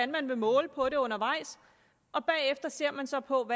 man vil måle på det undervejs og bagefter ser man så på